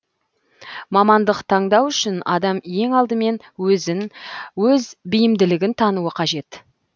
мамандық таңдау үшін адам ең алдымен өзін өз бейімділігін тануы қажет